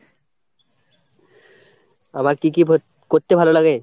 আমার কি কি পর করতে ভালো লাগে?